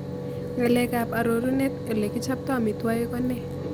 Ng'aleekap aroruneet ole kichopto amiitwogik ko nee